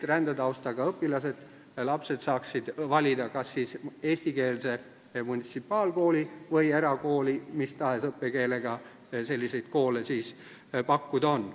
Rändetaustaga õpilased, lapsed peaksid saama valida kas eestikeelse munitsipaalkooli või erakooli, mis tahes õppekeelega selliseid koole pakkuda on.